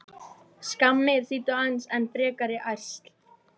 Skammir þýddu aðeins enn frekari ærsl.